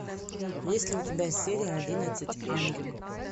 есть ли у тебя серия одиннадцать ангел